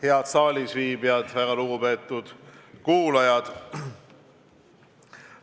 Head saalisviibijad ja väga lugupeetud kuulajad!